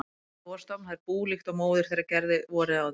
Næsta vor stofna þær bú líkt og móðir þeirra gerði vorið áður.